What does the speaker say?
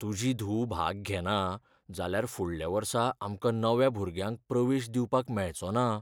तुजी धूव भाग घेना जाल्यार फुडल्या वर्सा आमकां नव्या भुरग्यांक प्रवेश दिवपाक मेळचो ना.